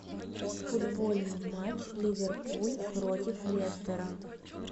футбольный матч ливерпуль против лестера